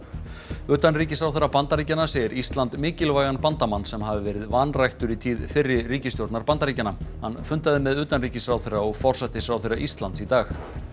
utanríkisráðherra Bandaríkjanna segir Ísland mikilvægan bandamann sem hafi verið vanræktur í tíð fyrri Bandaríkjanna hann fundaði með utanríkisráðherra og forsætisráðherra Íslands í dag